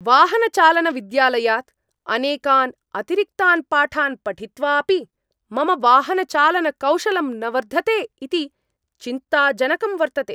वाहनचालनविद्यालयात् अनेकान् अतिरिक्तान् पाठान् पठित्वा अपि मम वाहनचालनकौशलम् न वर्धते इति चिन्ताजनकं वर्तते।